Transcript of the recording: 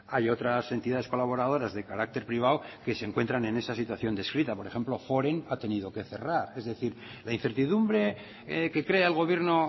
hay otras entidades colaboradoras de carácter privado que se encuentran en esta situación descrita por ejemplo forem ha tenido que cerrar es decir la incertidumbre que crea el gobierno